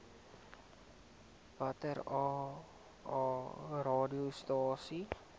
watter aa radiostasies